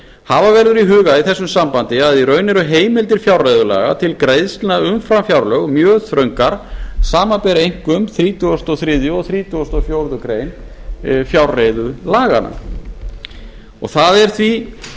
hafa verður í huga í þessu sambandi að í raun eru heimildir fjárreiðulaga til greiðslna umfram fjárlög mjög þröngar samanber einkum þrítugasta og þriðja og þrítugasta og fjórðu grein fjárreiðulaganna það er því